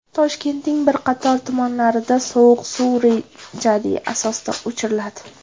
Toshkentning bir qator tumanlarida sovuq suv rejali asosda o‘chiriladi.